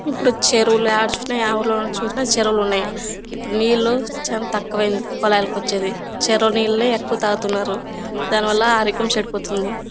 ఇప్పుడు చెరువులు ఆడ చూసిన ఆ ఊర్లో చూసిన చెరువులున్నయి. ఇప్పుడు నీళ్లు చాలా కోచేది. చెరువు నీళ్ళే ఎక్కువ తాగుతున్నారు. దాని వల్ల ఆరోగ్యం చెడిపోతుంది.